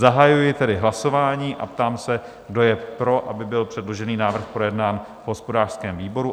Zahajuji tedy hlasování a ptám se, kdo je pro, aby byl předložený návrh projednán v hospodářském výboru?